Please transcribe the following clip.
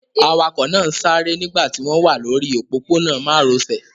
Awakọ̀ náà ń sáré nígbà tí wọ́n wà lórí òpópónà márosẹ̀.